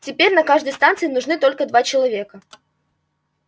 теперь на каждой станции нужны только два человека